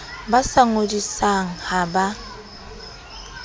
ba sa ngodisang ha ba